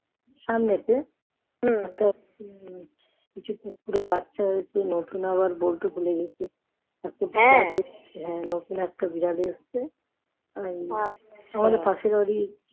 সামনেতে কিছু কুকুরের বাচ্চা হয়েছে নতুন আবার বলতে ভুলে গেছি নতুন একটা বিড়াল এসছে আমাদের পাশে বাড়ি